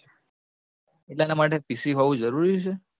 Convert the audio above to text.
એટલે એના માટે PC હોવું જરૂરી છે?